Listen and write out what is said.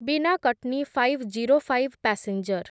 ବିନା Katni five zero five passenger